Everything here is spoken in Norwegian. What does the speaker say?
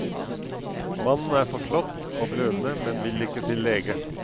Mannen er forslått og blødende, men vil ikke til lege.